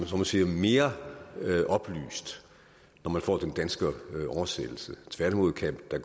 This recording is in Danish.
så må sige mere oplyst når man får den danske oversættelse tværtimod kan der